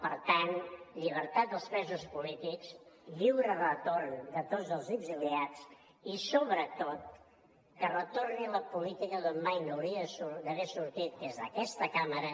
per tant llibertat dels presos polítics lliure retorn de tots els exiliats i sobretot que retorni la política d’on mai no hauria d’haver sortit que és d’aquesta cambra